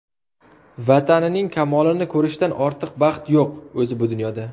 Vatanining kamolini ko‘rishdan ortiq baxt yo‘q o‘zi bu dunyoda.